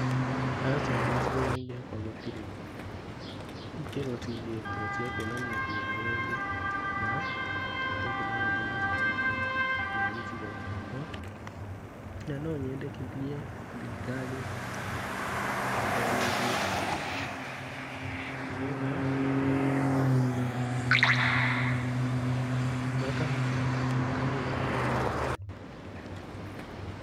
Aca gĩcigo-inĩ gĩakwa gũtirĩ ikĩro cigĩtwo cia kuonania ukinyanĩrĩru wa tekinoronjĩ macukuru-inĩ ma gĩcigo gĩakwa. Na no nyendekithie thirikari ithomithie andũ, nĩ getha onao makahota gũaka mĩako mĩkinyanĩru.